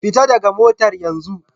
Fita daga motar yenzu